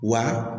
Wa